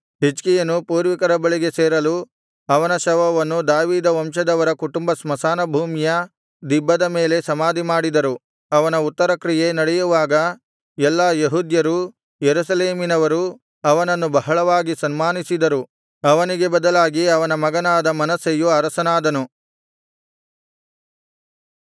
ಹಿಜ್ಕೀಯನು ಪೂರ್ವಿಕರ ಬಳಿಗೆ ಸೇರಲು ಅವನ ಶವವನ್ನು ದಾವೀದವಂಶದವರ ಕುಟುಂಬ ಸ್ಮಶಾನ ಭೂಮಿಯ ದಿಬ್ಬದ ಮೇಲೆ ಸಮಾಧಿಮಾಡಿದರು ಅವನ ಉತ್ತರಕ್ರಿಯೆ ನಡೆಯುವಾಗ ಎಲ್ಲಾ ಯೆಹೂದ್ಯರೂ ಯೆರೂಸಲೇಮಿನವರು ಅವನನ್ನು ಬಹಳವಾಗಿ ಸನ್ಮಾನಿಸಿದರು ಅವನಿಗೆ ಬದಲಾಗಿ ಅವನ ಮಗನಾದ ಮನಸ್ಸೆಯು ಅರಸನಾದನು